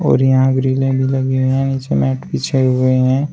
और यहां ग्रिले भी लगी हैं नीचे मैट बिछाए हुए हैं।